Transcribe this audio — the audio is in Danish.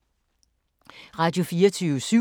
Radio24syv